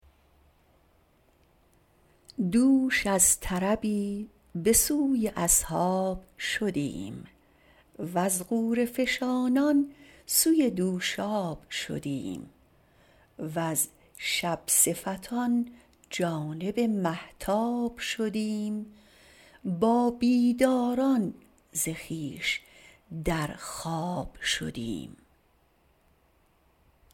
دوش از طربی بسوی اصحاب شدیم وز غوره فشانان سوی دوشاب شدیم وز شب صفتان جانب مهتاب شدیم با بیداران ز خویش در خواب شدیم